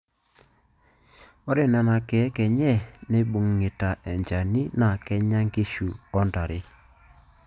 Ore Nena keek enye naibung'ita enchani naa kenya nkishu o ntare.